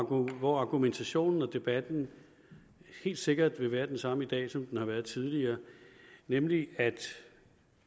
og hvor argumentationen og debatten helt sikkert vil være den samme i dag som den har været tidligere nemlig at